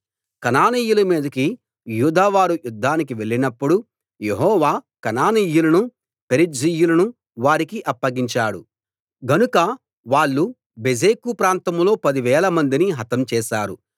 కనానీయుల మీదికి యూదావారు యుద్ధానికి వెళ్ళినప్పుడు యెహోవా కనానీయులను పెరిజ్జీయులను వారికి అప్పగించాడు గనుక వాళ్ళు బెజెకు ప్రాంతంలో పదివేలమందిని హతం చేశారు